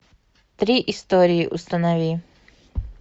три истории установи